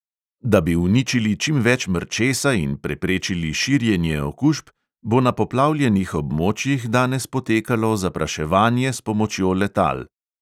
Da bi uničili čim več mrčesa in preprečili širjenje okužb, bo na poplavljenih območjih danes potekalo zapraševanje s pomočjo letal.